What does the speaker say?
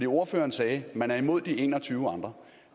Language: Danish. ordføreren sagde at man var imod de en og tyve andre